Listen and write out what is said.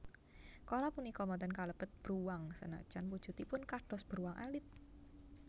Koala punika boten kalebet bruwang sanajan wujudipun kados bruwang alit